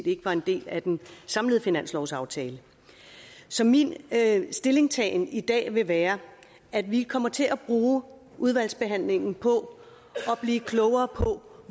ikke var en del af den samlede finanslovsaftale så min stillingtagen i dag vil være at vi kommer til at bruge udvalgsbehandlingen på at blive klogere på